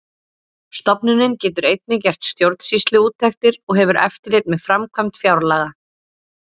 Stofnunin getur einnig gert stjórnsýsluúttektir og hefur eftirlit með framkvæmd fjárlaga.